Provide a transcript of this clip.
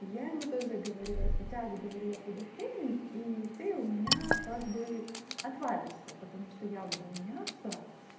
я ему тоже говорила сейчас говорю я пойду в тренинг и ты у меня как бы отвалишься потому что я буду меняться